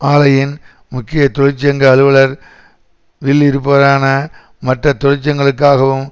ஆலையின் முக்கிய தொழிற்சங்க அலுவலர் வில் இருப்பவரான மற்ற தொழிற்சங்கங்களுக்காகவும்